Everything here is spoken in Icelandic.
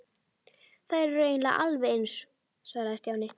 Þær eru eiginlega alveg eins svaraði Stjáni.